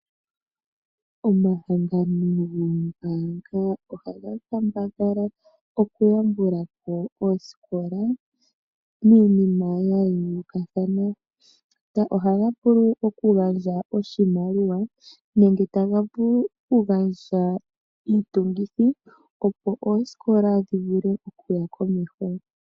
Omahangano goombaanga ohaga kambadhala okuyambula po oosikola miinima ya yoolokathana. Ohaga vulu okugandja oshimaliwa nenge taga vulu okugandja iitungithi, opo oosikola dhi vule okuya komeho.